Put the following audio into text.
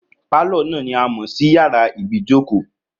Pálọ̀ náà ni a mọ̀ sí yàrá ibìí jókòó